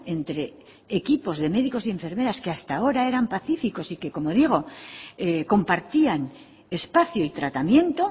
entre equipos de médicos y enfermeras que hasta ahora eran pacíficos y que como digo compartían espacio y tratamiento